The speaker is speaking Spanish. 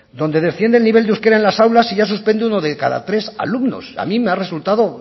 donde desciende el nivel de euskera en las aulas y ya suspende uno de cada tres alumnos a mí me ha resultado